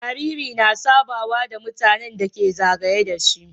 Jariri na sabawa da mutAnan da ke zagaye dashi